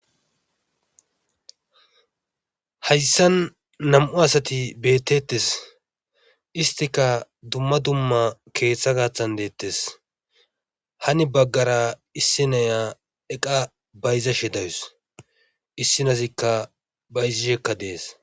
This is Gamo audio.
Hayssan nam'u asati beetetes. isttikka dumma dumma keetha gaaththan deetees.hani bagara issi nayiya eqqa bayzashe de'awus. issi naazikka bayzishekka dees.